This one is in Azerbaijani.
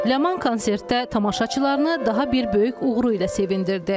Ləman konsertdə tamaşaçılarını daha bir böyük uğuru ilə sevindirdi.